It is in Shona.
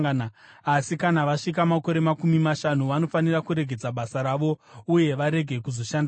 asi kana vasvika makore makumi mashanu, vanofanira kuregedza basa ravo uye varege kuzoshandazve.